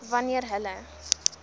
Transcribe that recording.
b wanneer hulle